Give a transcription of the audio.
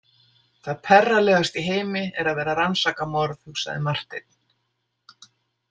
Það perralegasta í heimi er að vera að rannsaka morð, hugsaði Marteinn.